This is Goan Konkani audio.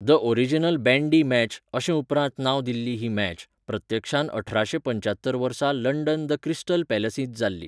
द ओरिजिनल बँडी मॅच, अशें उपरांत नांव दिल्ली ही मॅच, प्रत्यक्षांत अठराशे पंच्यात्तर वर्सा लंडन द क्रिस्टल पॅलसींत जाल्ली.